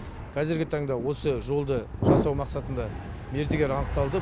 қазіргі таңда осы жолды жасау мақсатында мердігер анықталды